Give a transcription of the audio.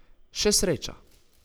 Še sreča!